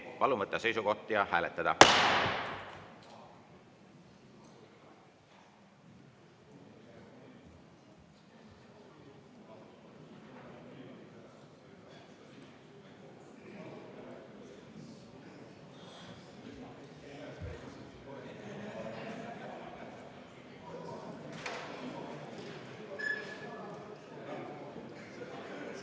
Palun võtta seisukoht ja hääletada!